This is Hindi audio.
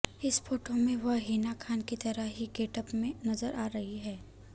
इस फोटो में वह हिना खान की तरह ही गेटअप में नजर आ रही है